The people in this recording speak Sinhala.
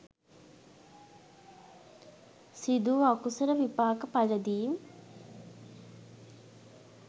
සිදු වූ අකුසල විපාක පලදීම්